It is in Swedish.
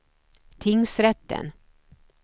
tingsrätten